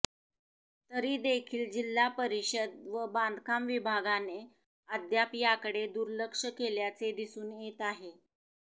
तरीदेखील जिल्हा परिषद व बांधकाम विभागाने अद्याप याकडे दुर्लक्ष केल्याचे दिसून येत आहे